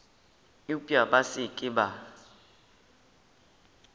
eupša ba se ke ba